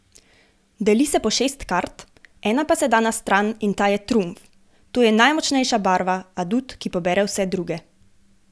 Deli se po šest kart, ena pa se da na stran in ta je trumf, to je najmočnejša barva, adut, ki pobere vse druge.